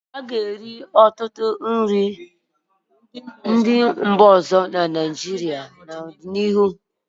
A ga-eri ọtụtụ nri ndị mba ọzọ na Naịjirịa n'ọdịnihu.